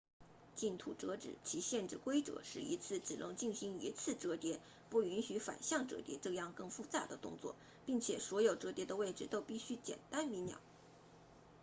净土折纸其限制规则是一次只能进行一次折叠不允许反向折叠这样更复杂的动作并且所有折叠的位置都必须简单明了